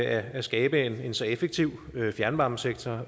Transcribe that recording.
er at skabe en så effektiv fjernvarmesektor